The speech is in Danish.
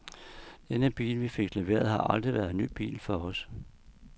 Den bil, vi fik leveret, har aldrig været en ny bil for os.